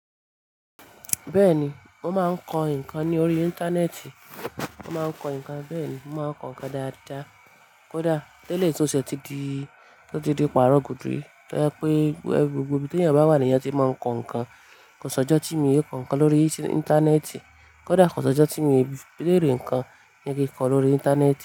Bẹ́ẹ̀ni, mo máa ń kọ nǹkan ní orí Íńtánẹ́ẹ̀tì. Mo máa ń kọ nǹkan bẹ́ẹ̀ ni. Mo máa ń kọ nǹkan dáadáa. Kódà tẹ́lè túnṣe ti di, ti di pàrọ̀ gúdúrí. Lẹ́ pé gbogbo ibi ti eyàn bá wà ní, e yàn ti máa ń kọ ǹkan. Kò sọ́jọ́ tí mi òn kọ ǹkan lórí Íńtánẹ́ẹ̀tì. Kódà kò sọ́jọ́ tí mo lè rí ǹkan ni kí kọ lórí Íńtánẹ́ẹ̀tì.